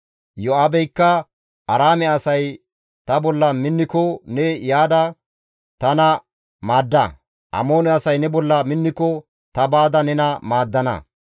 Iyo7aabeykka, «Aaraame asay ta bolla minniko ne yaada tana maadda; Amoone asay ne bolla minniko ta baada nena maaddana.